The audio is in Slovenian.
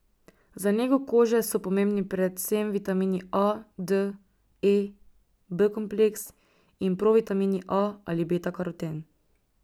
Za nego kože so pomembni predvsem vitamini A, D, E, B kompleks in provitamin A ali beta karoten.